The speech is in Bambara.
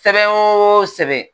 Sɛbɛn o sɛbɛn